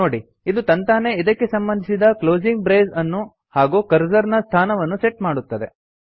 ನೋಡಿ ಇದು ತಂತಾನೇ ಇದಕ್ಕೆ ಸಂಬಂಧಿಸಿದ ಕ್ಲೋಸಿಂಗ್ ಬ್ರೇಸ್ ಅನ್ನು ಹಾಗೂ ಕರ್ಸರ್ ನ ಸ್ಥಾನವನ್ನು ಸೆಟ್ ಮಾಡುತ್ತದೆ